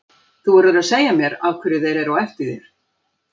Þú verður að segja mér af hverju þeir eru á eftir þér.